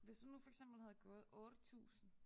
Hvis hun nu for eksempel havde gået 8000